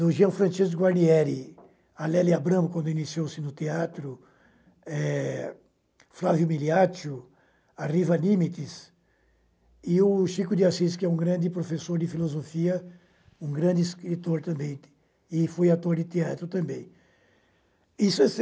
do Jean Francesco Guarnieri, a Lélia Abramo, quando iniciou-se no teatro, e Flávio Miliaccio, a Riva Nimitz, e o Chico de Assis, que é um grande professor de filosofia, um grande escritor também, e foi ator de teatro também. E